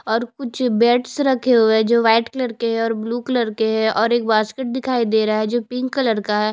और कुछ बेड्स रखे हुए है जो व्हाईट कलर के है और ब्लू कलर के है और एक बास्केट दिखाई दे रहा है जो पिंक कलर का है।